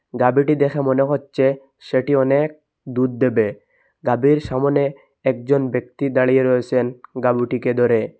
গাভীটি দেখে মনে হচ্ছে সেটি অনেক দুধ দেবে গাভীর সামোনে একজন ব্যক্তি দাঁড়িয়ে রয়েসেন গাবুটিকে ধরে।